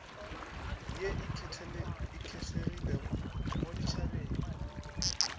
ye e kgethegileng mo ditšhabeng